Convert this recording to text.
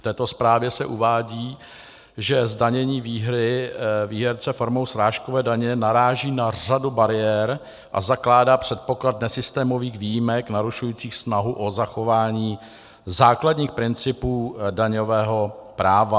V této zprávě se uvádí, že zdanění výhry výherce formou srážkové daně naráží na řadu bariér a zakládá předpoklad nesystémových výjimek narušujících snahu o zachování základních principů daňového práva.